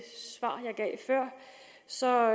så